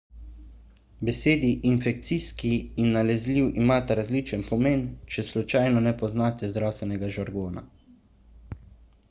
besedi infekcijski in nalezljiv imata različen pomen če slučajno ne poznate zdravstvenega žargona